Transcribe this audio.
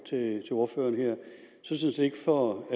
tid på